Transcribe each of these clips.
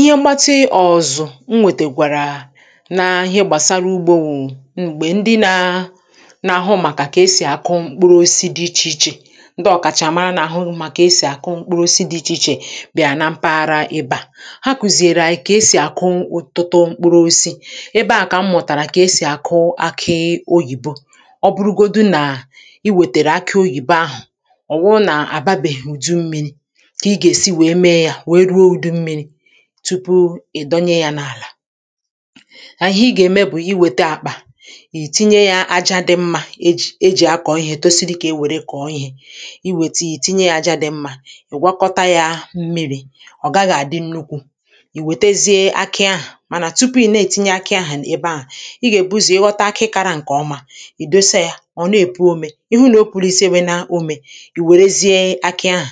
ihe mbati ọ̀zọ̀ m nwekwara n’ihe gbàsara ugbȯ wụ̀ m̀gbè ndị na n’àhụ màkà kà esì akụụ mkpụrụ osisi dị ichè ichè ndị ọ̀kàchàmara n’àhụ màkà esì àkụụ mkpụrụ osisi dị ichè ichè bị̀à na mpaghara ịbà ha kụ̀zìèrè à kà esì àkụụ ụ̀tụtụ mkpụrụ osisi ebe à kà m mụ̀tàrà kà esì àkụụ aka oyìbo ọ bụrụgodu nà i wètèrè aka oyìbe ahụ̀ ọ̀ wụrụ nà àbabèhùdu ummi̇ri̇ tupu ị̀ dọnya ya n’àlà àhụ i gà-ème bụ̀ iwète akpà ì tinye ya aja dị mmȧ e jì akọ̀ ihė tosi dị kà e wère kọ̀ọ ihė iwète i tinye ya aja dị mmȧ ị̀ gwakọta ya mmiri̇ ọ̀ gaghị̇ àdị nnukwu̇ ì wètezie akị ahụ̀ mànà tupu i na-ètinye akị ahụ̀ ebe ahụ̀ ị gà-èbuzì ịghọta akị kȧrȧ ǹkè ọma ì dosa ya ọ̀ na-èpu ome ihu nà o pùrù isėwe na ome ì wèrezie akị ahụ̀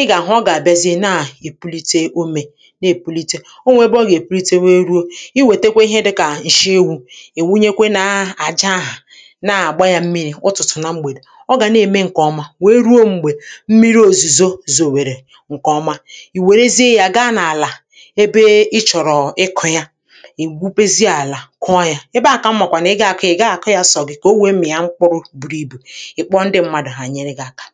ị gà-àhụ ọ gà-àbịazịa nà ì pulite umė nà ì pulite, ọ nwẹ̀ ẹbẹ ọ gà-èpulite nwee ruo i wète ihe dịkà ǹshị ewu̇ ì wunyekwe nà àja ahụ̀ nà àgba yȧ mmiri̇ ụ̀tụtụ̀ na mgbè dị̀ ọ gà na-ème ǹkè ọma wèe ruo m̀gbè mmiri òzùzo zòwèrè ǹkè ọma ì wèrezie yȧ gaa n’àlà ebe ị chọ̀rọ̀ ịkụ̇ ya ì gwupesi àlà kụọ yȧ ebe a kà m màkwà nà ị ga-akọ ị̇ gà-àkọ ya sọgị kà o wẹmị̀ ya mkpụrụ ǹkẹ ọ bụ̀ ihe dịkà mkpọọ ndị mmadụ̀ ha nyere gị̇ aka